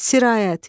Sirayət,